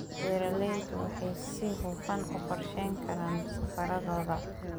Beeraleydu waxay si hufan u qorsheyn karaan safarradooda.